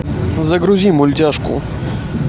загрузи мультяшку